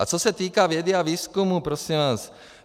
A co se týče vědy a výzkumu prosím vás.